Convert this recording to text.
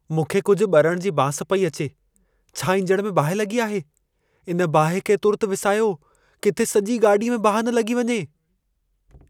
मूंखे कुझु ॿरण जी बांस पई अचे। छा ईंजण में बाहि लॻी आहे? इन ॿाहि खे तुर्तु विसायो, किथे सॼी गाॾीअ में बाहि न लॻी वञे।